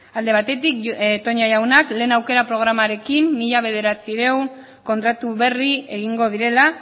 alde batetik toña jaunak lehen aukera programarekin mila bederatziehun kontratu berri egingo direla